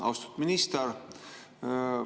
Austatud minister!